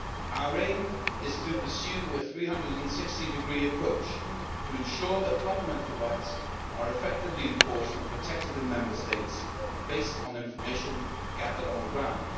Our aim is to pursue with a 360 degree approach to ensure that fundamental rights are effectively enforced and protected in Member States, based on information gathered on the ground.